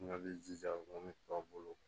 N ka jija ko ne tɔw bolo